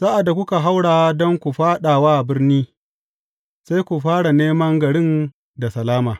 Sa’ad da kuka haura don ku fāɗa wa birni, sai ku fara neman garin da salama.